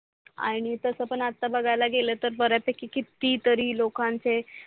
आणि तसं पण आता बगायला गेल तर बऱ्या पैकी किती तरी लोकांचे.